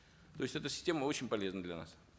то есть эта система очень полезна для нас